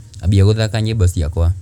ambia gūthaka nyīmbo cia kwa